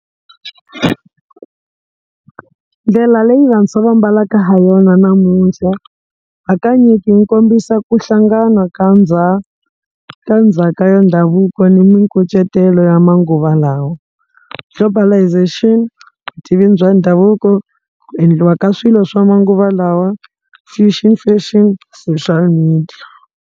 Ndlela leyi vantshwa va ambalaka ha yona namuntlha hakanyingi yi kombisa ku hlangana ka ka ndzhaka ya ndhavuko ni mikucetelo ya manguva lawa, globalalisation, vutivi bya ndhavuko, ku endliwa ka swilo swa manguva lawa fusion fashion, social media.